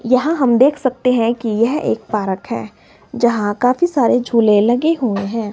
यहां हम देख सकते हैं कि यह एक पार्क है जहां काफी सारे झूले लगे हुए हैं।